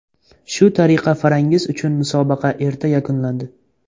Shu tariqa Farangiz uchun musobaqa erta yakunlandi.